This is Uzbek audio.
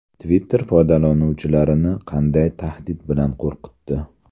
Twitter foydalanuvchilarini qanday tahdid bilan qo‘rqitdi?